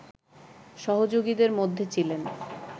সহযোগীদের মধ্যে ছিলেন